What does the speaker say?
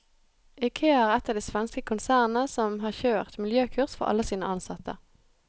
Ikea er ett av de svenske konsernene som har kjørt miljøkurs for alle sine ansatte.